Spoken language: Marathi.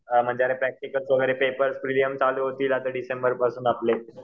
म्हणजे प्रॅक्टिकलचे वगैरे पेपर प्रिलिम्स चालू होतील आता डिसेंबरपासून आपले